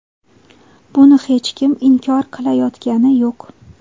Buni hech kim inkor qilayotgani yo‘q.